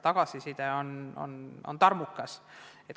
Tagasiside on tarmukas.